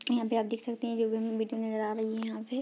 यहाँ पे आप देख सकते हैं जो भी हमें नज़र आ रही है यहाँ पे।